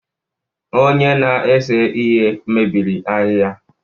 Onye na-ese ihe mebiri ahịhịa